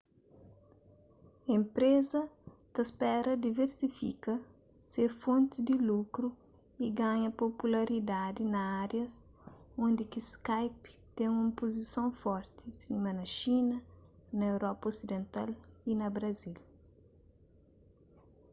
enpreza ta spera diversifika se fontis di lukru y ganha popularidadi na árias undi ki skype ten un puzison forti sima na xina na europa oriental y na brazil